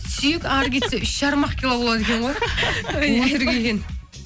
сүйек әрі кетсе үш жарым ақ кило болады екен ғой өтірік екен